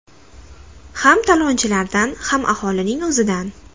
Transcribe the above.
Ham talonchilardan, ham aholining o‘zidan.